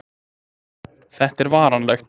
Þetta er varanlegt